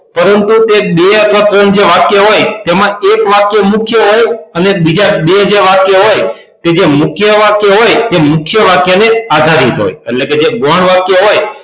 પરંતુ તે બે અથવા ત્રણ વાક્ય હોય તેમાં એક વાક્ય મુખ્ય હોય અને બીજા જે બે વાક્ય હોય તે મુખ્ય વાક્ય હોય તે મુખ્ય વાક્ય ને આધારિત હોય એટલે કે જે ગૌણ વાક્ય હોય